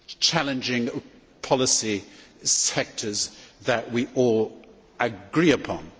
challenging policy sectors that we all agree upon.